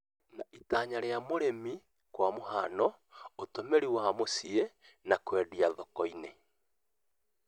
na itanya rĩa ũrĩmi kwa mũhiano, ũtũmĩri wa mũcii na kũendia thoko-inĩ.